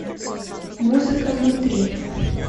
музыка внутри